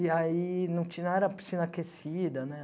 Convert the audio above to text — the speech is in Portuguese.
E aí não tinha nada, piscina aquecida, né?